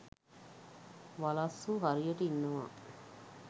වලස්සු හරියට ඉන්නවා.